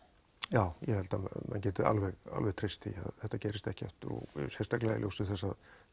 já ég held að menn geti alveg alveg treyst því að þetta gerist ekki aftur sérstaklega í ljósi þess